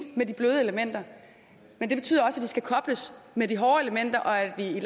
med de bløde elementer men det betyder også at de skal kobles med de hårde elementer og at vi i